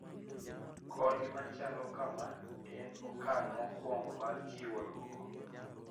Kony machalo kama en okang` mokwongo mar chiwo dwoko